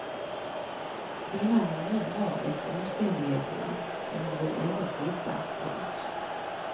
Kvinnan mår nu bra efter omständigheterna men hon vill ändå flytta. punkt